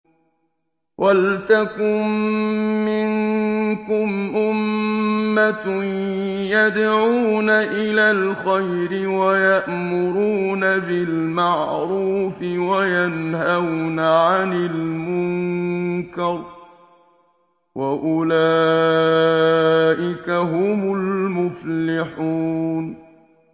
وَلْتَكُن مِّنكُمْ أُمَّةٌ يَدْعُونَ إِلَى الْخَيْرِ وَيَأْمُرُونَ بِالْمَعْرُوفِ وَيَنْهَوْنَ عَنِ الْمُنكَرِ ۚ وَأُولَٰئِكَ هُمُ الْمُفْلِحُونَ